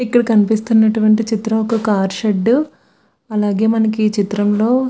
ఇక్కడ కనిపిస్తున్న చిత్రం కార్ షెడ్ . అలాగే మనకు ఈ చిత్రంలో --